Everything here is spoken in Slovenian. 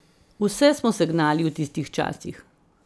Vse smo se gnali v tistih časih.